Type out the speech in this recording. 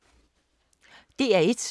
DR1